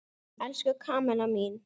Elsku Kamilla mín!